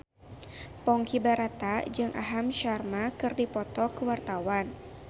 Ponky Brata jeung Aham Sharma keur dipoto ku wartawan